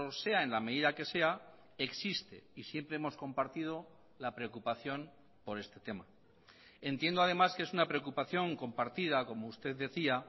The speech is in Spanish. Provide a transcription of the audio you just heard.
sea en la medida que sea existe y siempre hemos compartido la preocupación por este tema entiendo además que es una preocupación compartida como usted decía